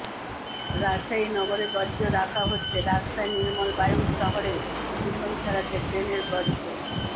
রাজশাহী নগরে বর্জ্য রাখা হচ্ছে রাস্তায় নির্মল বায়ুর শহরে দূষণ ছড়াচ্ছে ড্রেনের বর্জ্য